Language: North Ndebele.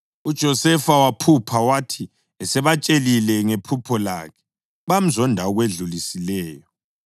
UJosefa waphupha, wathi esebatshelile ngephupho lakhe bamzonda ngokwedlulisileyo.